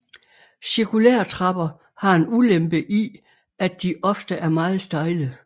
Cirkulære trapper har en ulempe i at de ofte er meget stejle